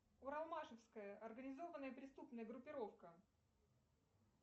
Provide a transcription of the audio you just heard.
уралмашевская организованная преступная группировка